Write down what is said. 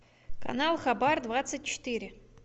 канал хабар двадцать четыре